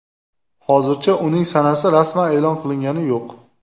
Hozircha uning sanasi rasman e’lon qilingani yo‘q.